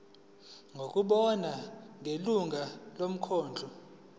ngokubona kwelungu lomkhandlu